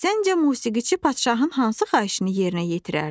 Səncə musiqiçi padşahın hansı xahişini yerinə yetirərdi?